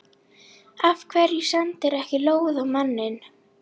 Af hverju sendirðu ekki lóð á manninn?